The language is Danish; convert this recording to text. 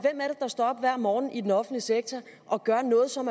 og står op hver morgen i den offentlige sektor og gør noget som